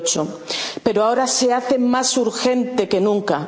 crisis del 2008. Pero ahora se hace más urgente